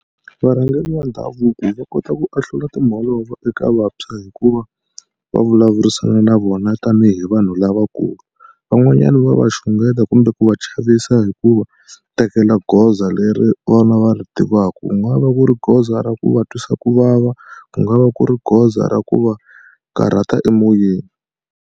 Varhangeri va ndhavuko va kota ku ahlula timholovo eka vantshwa hikuva va vulavurisana na vona tanihi vanhu lavakulu. Van'wanyani va va xungeta kumbe ku va chavisa hi ku va tekela goza leri vona va ri tivaka. Ku nga va ku ri goza ra ku va twisa ku vava, ku nga va ku ri goza ra ku va karhata emoyeni.